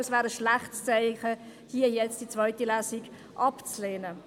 Es wäre ein schlechtes Zeichen, die zweite Lesung abzulehnen.